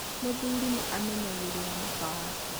mũthurinĩamenyagĩrĩra mũka wake